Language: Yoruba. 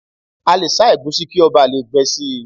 A lè sá ẹ̀gúsí kí ó bà lè gbẹ síi